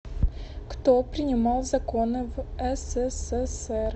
кто принимал законы в ссср